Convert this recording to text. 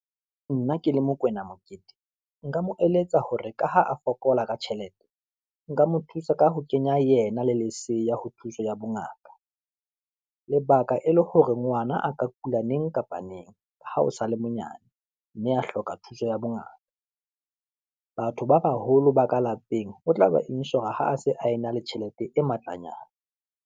Nna ke le Mokwena Mokete, nka moeletsa hore ka ha a fokola ka tjhelete, nka mo thusa ka ho kenya yena le leseya ho thuso ya bongaka, lebaka e le hore ngwana a ka kula neng kapa neng ha o sale monyane, mme a hloka thuso ya bongaka. Batho ba baholo ba ka lapeng o tla ba insure-a ha a se a e na le tjhelete e matlanyana.